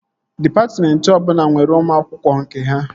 Dịpatmentị ọbụla nwere ụmụ akwụkwọ nke ha